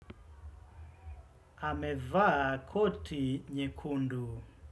Amevaa koti nyekundu.